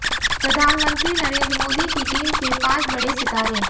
प्रधानमंत्री नरेंद्र मोदी की टीम के पांच बड़े सितारे